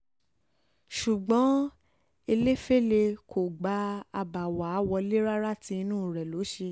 ṣùgbọ́n ẹlẹ́fẹ́lẹ́ kò gba àbá um wa wọ́lẹ̀ rárá tí inú rẹ̀ um ló ṣe